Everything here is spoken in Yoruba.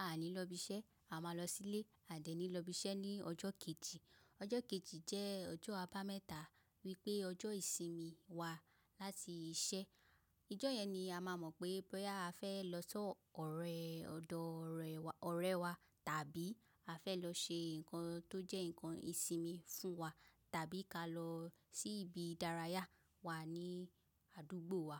a ní lọ ibiṣẹ́, a má lọ sí ilé, a dẹ̀ ní lọ ibiṣẹ́ ní ọjọ́ kejì. Ọjọ́ kejì jẹ́ ọjọ́ àbá mẹ́ta wípé ọjọ́ ìsinmi wa láti iṣẹ́. Ìjọ yẹn ni a má mọ̀ pé bóyá a fẹ́ lọ sọ ọ̀rẹ́ ọ̀dọ̀ ọ̀rẹ́ wa ọ̀rẹ́ wa tàbí a fẹ́ lọ ṣe ǹkan tó jẹ́ ǹkan ìsinmi fún wa tàbí ká lọ sí ibi ìdárayá wà ní àdúgbò wa.